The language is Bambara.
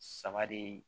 Saba de